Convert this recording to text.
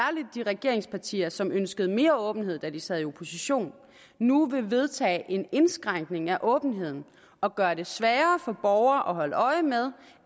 de regeringspartier som ønskede mere åbenhed da de sad i opposition nu vil vedtage en indskrænkning af åbenheden og gøre det sværere for borgere at holde øje med